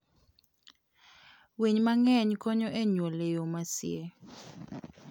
Winy mang'eny konyo e nyuol e yo masie.